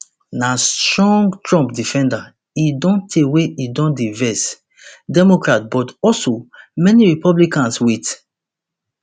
na strong trump defender e don tey wey e don dey vex democrats but also many republicans wit